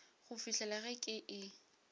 go fihlela ge ke e